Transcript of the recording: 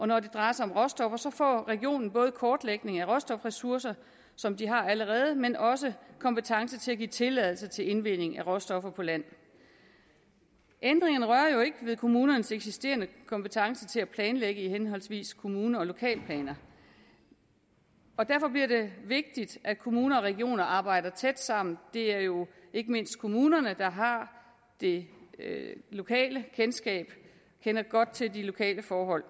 når det drejer sig om råstoffer får regionen både kortlægning af råstofressourcer som de har allerede men også kompetence til at give tilladelser til indvinding af råstoffer på land ændringerne rører jo ikke ved kommunernes eksisterende kompetence til at planlægge af henholdsvis kommune og lokalplaner derfor bliver det vigtigt at kommuner og regioner arbejder tæt sammen det er jo ikke mindst kommunerne der har det lokale kendskab og kender godt til de lokale forhold